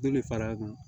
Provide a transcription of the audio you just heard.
Joli fara kan